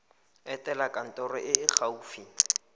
etela kantoro e e gaufi